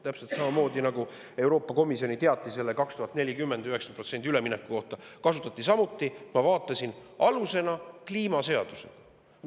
Täpselt samamoodi, nagu ka Euroopa Komisjoni teatise puhul – 2040. aastaks 90% – kasutati alusena, ma vaatasin, kliimaseadust.